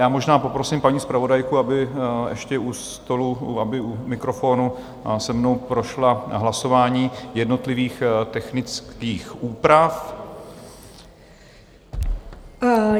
Já možná poprosím paní zpravodajku, aby ještě u stolu, aby u mikrofonu se mnou prošla hlasování jednotlivých technických úprav.